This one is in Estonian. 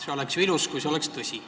See oleks ju ilus, kui see oleks tõsi.